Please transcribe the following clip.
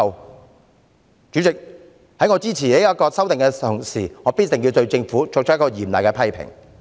代理主席，在我支持《條例草案》的同時，必須對政府作出嚴厲的批評。